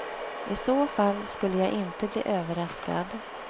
I så fall skulle jag inte bli överraskad.